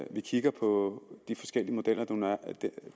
vi kigger på de forskellige modeller